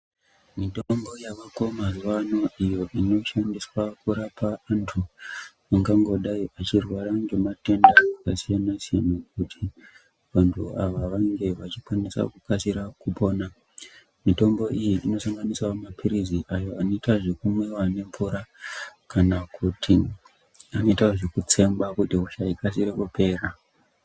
Mitombo yavako mazuwano iyo inoshandiswa kurapa antu angangodai echirwara ngematenda akasiyana siyana kuti vantu ava vanonge vachikwanisa kukasira kupona. Mitombo iyi inosanganisirawo mapirizi awo anoita zvekumwiwa nemvura kana kuti anoita zvekutsengwa kuti hosha ikasire kupera.